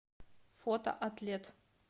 фото атлет